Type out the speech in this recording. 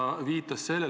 Jürgen Ligi, palun!